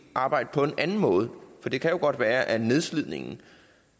arbejde på en anden måde for det kan jo godt være at nedslidningen